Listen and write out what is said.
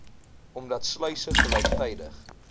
omdat sluise gelyktydig